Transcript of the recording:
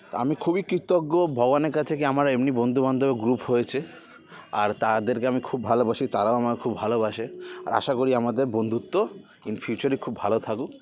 তা আমি খুবই কৃতজ্ঞ ভগবানের কাছে কে আমার এমনি বন্ধু বান্ধবের group হয়েছে আর তাদেরকে আমি খুব ভালোবাসি আর তারাও আমাকে খুব ভালোবাসে আর আশা করি আমাদের বন্ধুত্ব in future খুব ভালো থাকুক